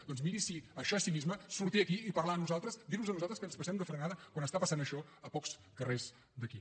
doncs miri sí això és cinisme sortir aquí i parlar nos a nosaltres dir nos a nosaltres que ens passem de frenada quan està passant això a pocs carrers d’aquí